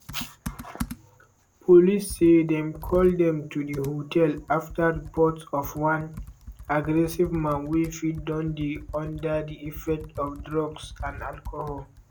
police say dem call dem to di hotel after reports of one "aggressive man wey fit don dey under di effects of drugs and alcohol".